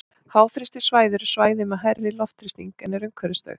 Háþrýstisvæði eru svæði með hærri loftþrýsting en er umhverfis þau.